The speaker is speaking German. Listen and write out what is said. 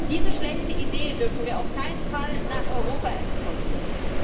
Diese schlechte Idee dürfen wir auf keinen Fall nach Europa exportieren.